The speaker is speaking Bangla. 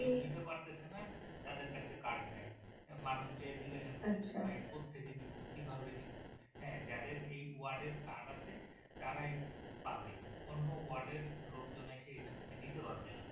কেউ নিতে পারতেছেনা তাদের যাচ্ছে কার্ড নেই মানুষ যে জিজ্ঞাসা করবে যে ভাই কোথেকে নিবো কিভাবে নিবো হা যাদের এই ওয়ার্ড এর কার্ড আছে তারাই পাবে অন্য ওয়ার্ড এর লোকজন এসে এখানে নিতে পারবেনা